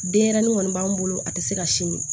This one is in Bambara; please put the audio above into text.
Denɲɛrɛnin kɔni b'an bolo a tɛ se ka sin min